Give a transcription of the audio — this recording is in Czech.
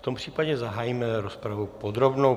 V tom případě zahájíme rozpravu podrobnou.